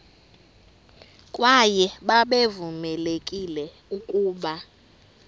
kwaye babevamelekile ukuba